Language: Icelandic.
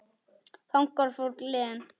Þangað fór Glenn.